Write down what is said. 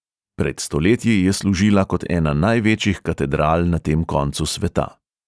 Pred stoletji je služila kot ena največjih katedral na tem koncu sveta.